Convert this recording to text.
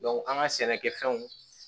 an ka sɛnɛkɛfɛnw